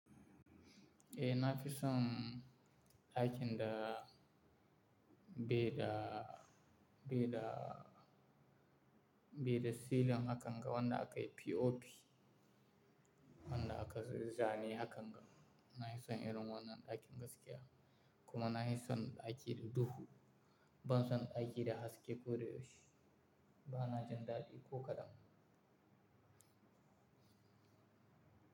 Eh na fi son aikin da be da, be da, be da silin akan ga wanda akayi POP. Wanda aka zane hakan ga. Na fi son irin wannan ɗakin gaskiya kuma na fi son ɗaki da duhu. Ban son ɗaki da haske ko da yaushe. Ba na jin daɗi ko kadan.